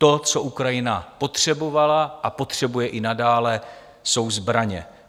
To, co Ukrajina potřebovala a potřebuje i nadále, jsou zbraně.